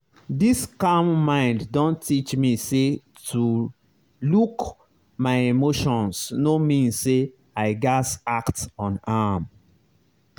this calm mind don teach me say to look my emotions no mean say i gaz act on am.